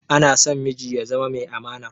Anason miji ya zama mai amana